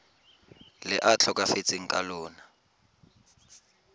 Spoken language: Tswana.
le a tlhokafetseng ka lona